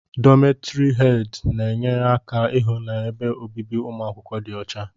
Dómeti hedi na enyere aka ịhụ na ebe obibi umuakwukwo dị ọcha.